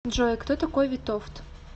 джой кто такой витовт